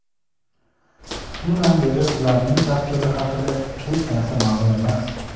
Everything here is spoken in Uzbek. Shundan beri ularning taqdiri haqida hech narsa ma’lum emas.